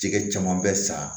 Jɛgɛ caman bɛ sa